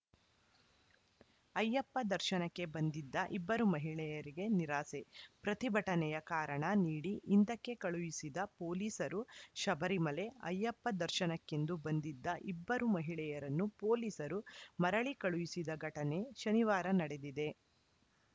ಅಯ್ಯಪ್ಪ ದರ್ಶನಕ್ಕೆ ಬಂದಿದ್ದ ಇಬ್ಬರು ಮಹಿಳೆಯರಿಗೆ ನಿರಾಸೆ ಪ್ರತಿಭಟನೆಯ ಕಾರಣ ನೀಡಿ ಹಿಂದಕ್ಕೆ ಕಳುಹಿಸಿದ ಪೊಲೀಸರು ಶಬರಿಮಲೆ ಅಯ್ಯಪ್ಪ ದರ್ಶನಕ್ಕೆಂದು ಬಂದಿದ್ದ ಇಬ್ಬರು ಮಹಿಳೆಯರನ್ನು ಪೊಲೀಸರು ಮರಳಿ ಕಳುಹಿಸಿದ ಘಟನೆ ಶನಿವಾರ ನಡೆದಿದೆ